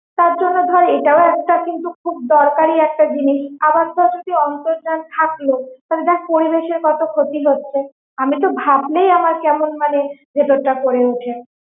তার জন্য ধর এটাও কিন্তু একটা খুব দরকারি একটা জিনিস, আবার ধর যদি অন্তর্জাল যদি থাকলো তাহলে পরিবেশের কত ক্ষতি হচ্ছে, আমি তো ভাবলেই আমার কেমন মানে ভেতর টা করে ওঠে।